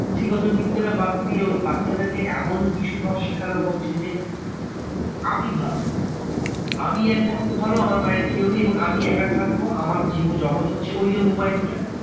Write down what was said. পুঁথিগত বিদ্যাটা বাদ দিয়ে ওই বাচ্চাদেরকে এমন কিছু ভাব সেখান হচ্ছে যে, আমি ভালো। আমি একমাত্র ভালো আমার বাইরে কেউ নেই এবং আমি একা থাকবো, আমার জীবজগৎ হচ্ছে ওইযে mobile টা।